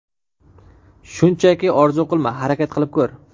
Shunchaki orzu qilma, harakat qilib ko‘r.